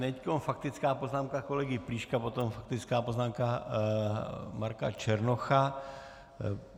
Teď faktická poznámka kolegy Plíška, potom faktická poznámka Marka Černocha.